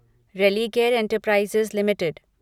Religare Enterprises limited